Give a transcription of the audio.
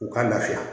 U ka lafiya